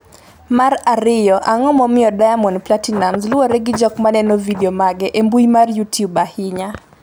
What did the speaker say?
mar ariyo, Ang’o momiyo Diamond Platinumz luwre gi jok maneno vidio mage e mbui mar Youtube ahinya?